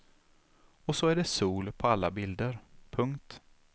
Och så är det sol på alla bilder. punkt